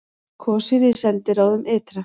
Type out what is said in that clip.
Kosið í sendiráðum ytra